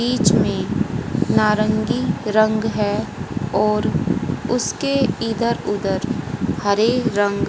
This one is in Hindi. बीच में नारंगी रंग है और उसके इधर उधर हरे रंग--